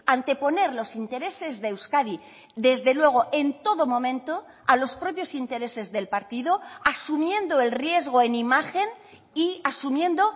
anteponer los intereses de euskadi desde luego en todo momento a los propios intereses del partido asumiendo el riesgo en imagen y asumiendo